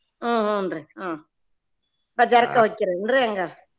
ಹ್ಮ್ ಹೂನ್ರಿ ಹ್ಮ್ बाजार ಕ ಹೊಕ್ಕೆರಿ ಏನ್ರೀ ಹೆಂಗಾ?